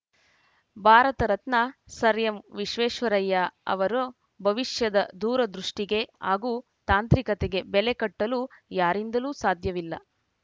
Bharat Ratna sir ಎಂವಿಶ್ವೇಶ್ವರಾಯ ಅವರ ಭವಿಷ್ಯದ ದೂರದೃಷ್ಟಿಗೆ ಹಾಗೂ ತಾಂತ್ರಿಕತೆಗೆ ಬೆಲೆ ಕಟ್ಟಲು ಯಾರಿಂದಲೂ ಸಾಧ್ಯವಿಲ್ಲ